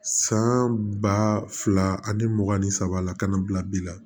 San ba fila ani mugan ni saba la ka na bila bi la